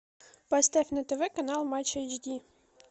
поставь на тв канал матч эйч ди